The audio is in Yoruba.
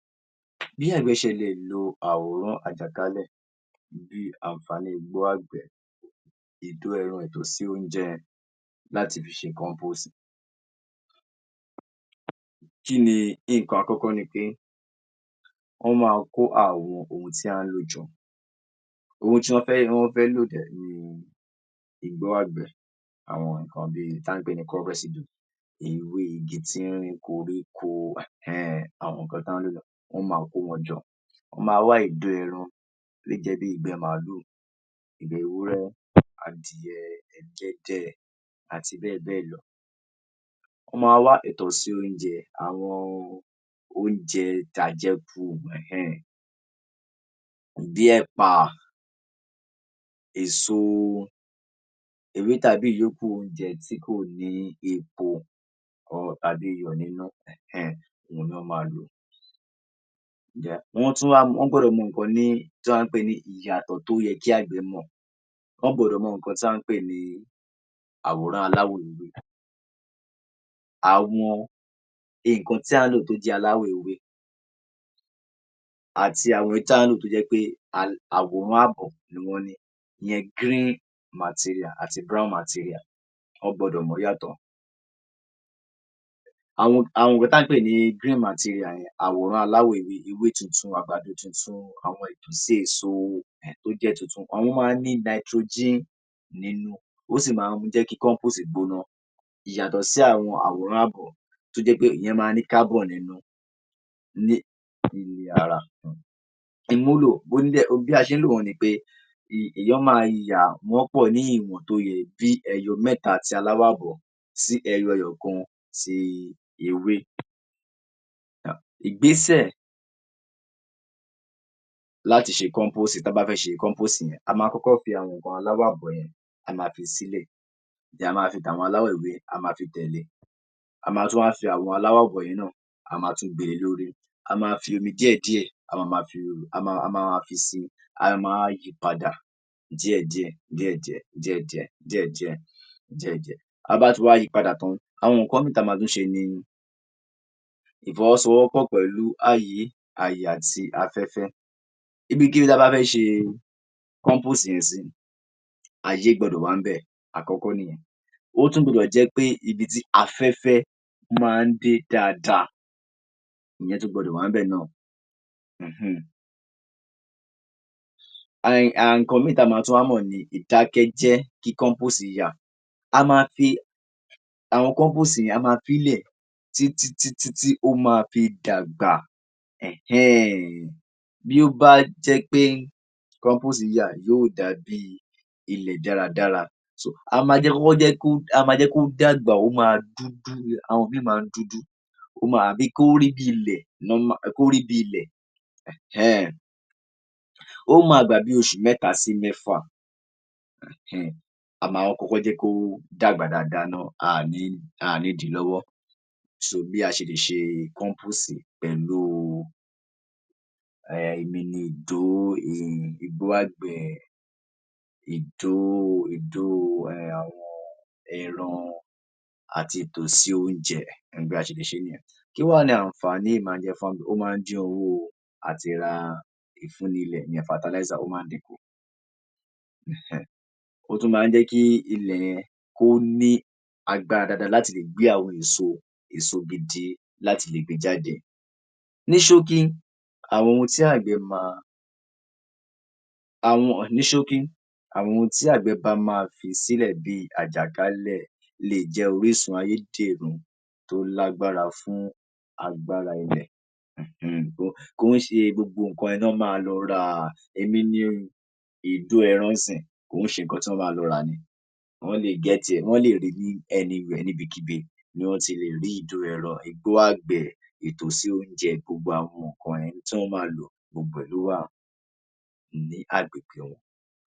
Bí àgbẹ̀ ṣe lè lo awoonu àjàkálẹ̀ bí àǹfàní igbó àgbẹ̀, ìdó ẹran ìtọ̀sí oúnjẹ láti fi ṣe compose. Kí ni? Nǹkan àkọ́kọ́ ni pé wọn máa kó àwọn ohun tí a ń lò jọ ohun tí wọn fẹ́ wọn fẹ́ lò dẹ̀ ni igbó àgbẹ̀, àwọn n ko bi ewé, igbó, bí koríko, hẹ̀-ẹ́-ẹ̀, àwọn ohun tí wọn lò wọn máa kó wọn jọ. Wọn máa wá ìgbẹ́ ẹran, ìgbẹ́ gbígbẹ bí ìgbẹ́ màlúù, ìgbẹ́ ẹran, ìgbẹ́ ewúrẹ́, adìẹ, pẹ́pẹ́yẹ àti bẹ́ẹ̀ bẹ́ẹ̀ lọ. Wọ́n máa wá ìtọ̀sí oúnjẹ àwọn oúnjẹ àjẹkù hìn-iń-ìn bí ẹ̀pà, eso gbogbo nǹkan tí kò wúlò lóko tàbí hẹ̀n-ẹ́n-ẹ̀n ni wọ́n lò. Ohun tí ó wá wà níbẹ̀ ni ìyàtọ̀ tó yẹ kí àgbẹ̀ mọ̀, wọn gbọ́dọ̀ mọ nǹkan tí a ń pè ní àwòmọ́ aláwọ̀ ewé. Àwọn nǹkan tí à ń lò tó jẹ́ aláwọ̀ ewé àti àwọn tí à ń lò tó jẹ́ pé àwòmọ́ ààbọ̀ ni wọ́n ni, ni green material àti brown material wọ́n gbọdọ̀ mọ̀ wọ́n yàtọ̀. Àwọn tà ń pè ní green material yẹn, àwòmọ́ aláwọ̀ ewé, ewé tútù, eso ẹ̀gúsí tó jẹ́ tuntun o máa ní nitrogen nínú ó sì máa ń jẹ́ kí compose gbóná. Ìyàtọ̀ sí àwọn àwòmọ́ àgbẹ̀ tó jẹ́ pé ìyẹn máa ń ní carbon nínú. Bí a ṣe ń lò ó ni pé wọ́n máa dà wọ́n pọ̀ ní ìwọ̀n tó yẹ tó jẹ́ pé bí ìwọ̀n mẹ́ta àti ààbọ̀ sí ẹyọ kan ti ewé. Ìgbésẹ̀ láti ṣe compose tán bá fẹ́ ṣe compose ni, a máa kọ́kọ́ gbé àwọn àwòmọ́ aláwọ̀ ààbọ̀ a máa fi sílẹ̀ tí a máa fi tàwọn aláwọ̀ ewé a máa fi tẹ̀le e, a tún máa fi àwọn alawọ̀ ààbọ̀ yìí náà, a máa tún gbé e lé e. A máa fi omi díẹ̀díẹ̀, a máa fi wọ́n ọn. A máa, a máa fi sí i a máa wá yí i padà díẹ̀ díẹ̀ díẹ̀ díẹ̀ díẹ̀ díẹ̀ díẹ̀ díẹ́. Bí a bá ti wá yí i padà tán, àwọn nǹkan mìíràn tó yẹ ká ṣe ni ìfọwọ́sowọ́pọ̀ pẹ̀lú ààyè àti afẹ́fẹ́. Ibi ti a bá fẹ́ ṣe compose yẹn sí ààyè gbọdọ̀ wà ń bẹ̀, àkọ́kọ́ nù-un. O sì gbọdọ̀ wá jẹ́ ibi tí afẹ́fẹ́ máa ń dé dáadáa ni tó gbọdọ̀ wa ń bẹ̀ ni hìn-iń-iǹ. Ohun tí a gbọ́dọ̀ tún mọ̀ ni ìdákẹ́jẹ́ tí compose wà. A máa fi í lẹ̀ tí tí tí ó máa fi dàgbà hẹ̀n-ẹ́n-ẹ̀n. Bó bá jẹ́ pé compose yà yóò jáde ni dáradára. A máa jẹ́ kó dàgbà, ó máa ń dúdú tàbí kó rí bíi ilẹ̀ hẹ̀n-ẹ́n-ẹ̀n. Ó máa gbà bí oṣù mẹ́ta sí mẹ́fà. A máa jẹ́ kó kọ́kọ́ dàgbà dáadáa ná, a ní, a ní dí i lọ́wọ́ so bí a ṣe lè ṣe compose pẹ̀lú lílo ìdó ,ewé igbó àgbẹ̀, ìgbẹ́ ẹran àti ìtọ̀sí oúnjẹ. Bá a ṣe lè ṣe e nìyẹn. Kí wá ni àǹfàní èyí? Ó máa ǹ dín owó àti ra fertilizer, ó máa ń dín in kù hẹ̀-ẹ́n-ẹ̀n. Ó tún máa ń jẹ́ kí ilẹ̀ kó ní agbára dáadáa láti lè gbé àwọn èso èso gidi jáde. Ní ṣókí, àwọn tí àgbẹ̀ ní ṣókí fi sílẹ̀ lè jẹ́ àjàkálẹ̀ lè jẹ́ orísun ayédẹrùn tó lágbára fún àwọn ilẹ̀ kì íṣe nǹkan tí wọn máa lọ rà ni, bíi ìdó ẹran ń sin-iń, kì í ṣe nǹkan tí wọn máa lọ rà ni wọ́n lè get ẹ̀ níbikíbi, ìgbẹ́ adìẹ, wọn le rí i ní any where níbikíbi ni wọn ti lè rí ìdó ẹran, igbó àgbẹ̀, ìtọ̀sí oúnjẹ gbogbo ẹ̀ tí wọn máa lò fún àgbẹ̀.